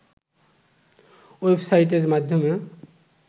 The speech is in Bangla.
ওয়েবসাইটের মাধ্যমে